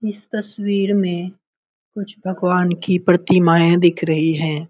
इस तस्वीर में कुछ भगवान कि प्रतिमाएँ दिख रही है।